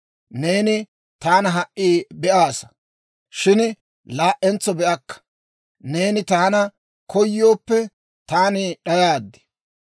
Neeni taana ha"i be'aasa; shin laa"entso be'akka; neeni taana koyooppe, taani d'ayaad.